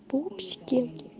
пупсики